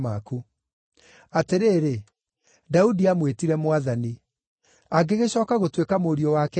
Atĩrĩrĩ, Daudi aamwĩtire ‘Mwathani’. Angĩgĩcooka gũtuĩka mũriũ wake atĩa?”